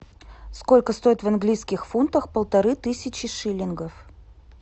сколько стоит в английских фунтах полторы тысячи шиллингов